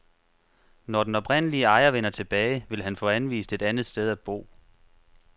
Når den oprindelige ejer vender tilbage, vil han få anvist et andet sted at bo.